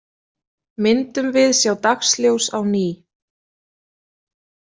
Myndum við sjá dagsljós á ný?